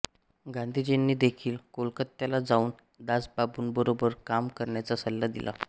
गांधींजीनी देखिल कोलकत्याला जाऊन दासबाबूंबरोबर काम करण्याचा सल्ला दिला